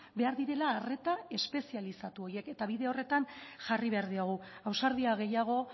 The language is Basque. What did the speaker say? behar direla arreta espezializatu horiek eta bide horretan jarri behar diogu ausardia gehiago